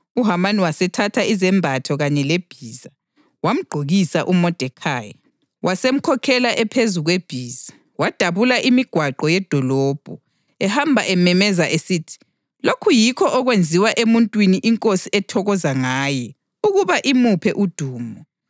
UHamani wasethatha izembatho kanye lebhiza. Wamgqokisa uModekhayi, wasemkhokhela ephezu kwebhiza, wadabula imigwaqo yedolobho, ehamba ememeza esithi, “Lokhu yikho okwenziwa emuntwini inkosi ethokoza ngaye ukuba imuphe udumo!”